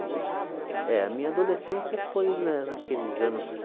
é. É, a minha adolescência foi na naqueles anos